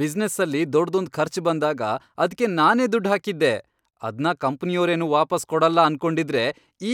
ಬಿಸ್ನೆಸ್ಸಲ್ಲಿ ದೊಡ್ದೊಂದ್ ಖರ್ಚ್ ಬಂದಾಗ ಅದ್ಕೆ ನಾನೇ ದುಡ್ ಹಾಕಿದ್ದೆ, ಅದ್ನ ಕಂಪ್ನಿಯೋರೇನು ವಾಪಸ್ ಕೊಡಲ್ಲ ಅನ್ಕೊಂಡಿದ್ರೆ